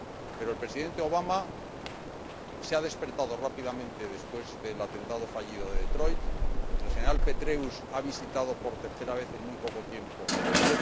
Pero el Presidente Obama se ha despertado rápidamente después del atentado fallido de Detroit y el General Petraeus ha visitado por tercera vez en muy poco tiempo Yemen